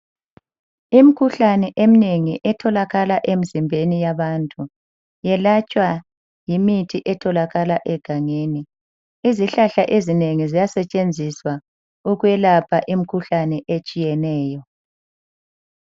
Imkhuhlane eminengi etholakala emzimbeni yabantu yelatshwa ngemithi etholakala egangeni Izihlahla ezinengi ziyasetshenziswa ukwelapha imikhuhlane etshiyeneyo.